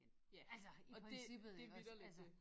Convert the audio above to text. Ja og dét det vitterligt det